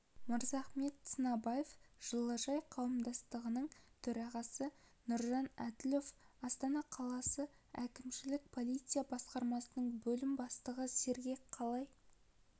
мырзахмет сынабаев жылыжай қауымдастығының төрағасы нұржан әділов астана қаласы әкімшілік полиция басқармасының бөлім бастығы сергек қалай